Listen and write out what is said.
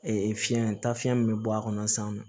fiyɛn taa fiyɛn min bɛ bɔ a kɔnɔ san nɔ